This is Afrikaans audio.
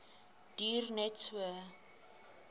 duur net so